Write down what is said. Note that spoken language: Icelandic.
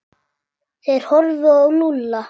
Þeir horfðu á Lúlla.